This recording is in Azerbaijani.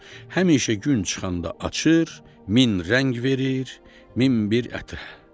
Həmişə gün çıxanda açır, min rəng verir, min bir ətir səpir.